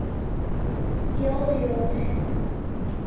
Jól, jól.